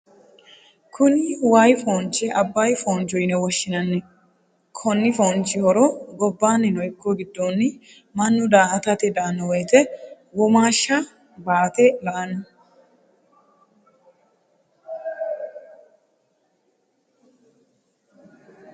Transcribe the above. Kunni wayi foonchi abayi fooncho yinne woshinnanni. Konni foonchi horo gabannino iko gidonni mannu daa'atate daano woyite womaasha baate la'ano.